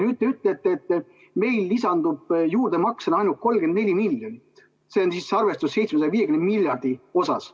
Nüüd te ütlete, et meile lisandub juurdemaksena ainult 34 miljonit, see on siis arvestuses 750 miljardi korral.